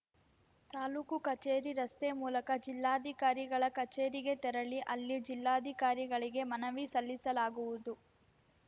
ತಾಲೂಕು ಕಚೇರಿ ರಸ್ತೆ ಮೂಲಕ ಜಿಲ್ಲಾಧಿಕಾರಿಗಳ ಕಚೇರಿಗೆ ತೆರಳಿ ಅಲ್ಲಿ ಜಿಲ್ಲಾಧಿಕಾರಿಗಳಿಗೆ ಮನವಿ ಸಲ್ಲಿಸಲಾಗುವುದು